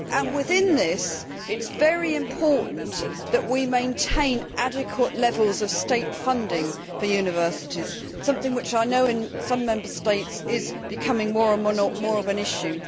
Within this, it is very important that we maintain adequate levels of state funding for universities something which I know in some Member States is becoming more and more of an issue.